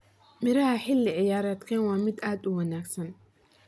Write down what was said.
Miraha xilli ciyaareedkan waa mid aad u wanaagsan.